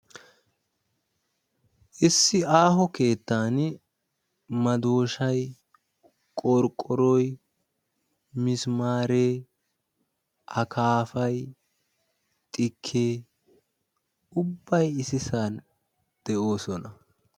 issi aaho keettaani madooshay qorqqoroy mismaaree akaapay xikkee ubbay issisan de'oosona.